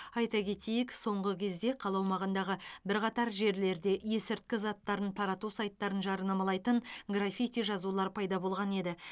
айта кетейік соңғы кезде қала аумағындағы бірқатар жерлерде есірткі заттарын тарату сайттарын жарнамалайтын граффити жазулар пайда болған еді